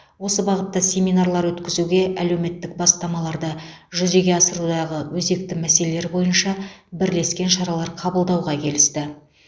осы бағытта семинарлар өткізуге әлеуметтік бастамаларды жүзеге асырудағы өзекті мәселелер бойынша бірлескен шаралар қабылдауға келісті